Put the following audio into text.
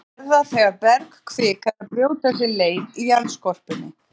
Þeir verða þegar bergkvika er að brjóta sér leið í jarðskorpunni.